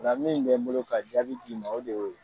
O la min bɛ n bolo ka jaabi d'i ma o de y'o ye.